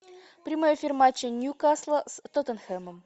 прямой эфир матча ньюкасла с тоттенхэмом